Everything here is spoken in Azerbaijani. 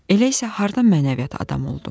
Elə isə hardan mənəviyyat adamı oldum?